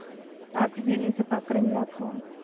சாப்பிட்டுட்டே news அ பாக்குறீங்களாக்கும்